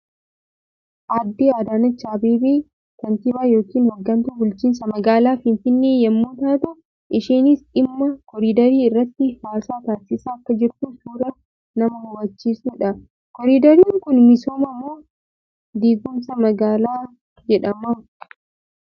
Aadde Adaaneechi Abeebee kaantiibaa yookiin hoggantuu bulchiinsa magaalaa Finfinnee yammuu taatu; isheenis dhimma koriiderii irratti haasaa taasaisaa akka jirtu suuraa nama hubachiisuu dha. Koriideriin kun misooma moo diigumsa magaalaa jedhama?